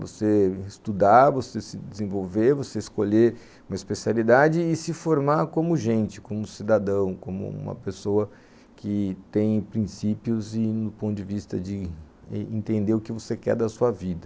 Você estudar, você se desenvolver, você escolher uma especialidade e se formar como gente, como cidadão, como uma pessoa que tem princípios e no ponto de vista de entender o que você quer da sua vida.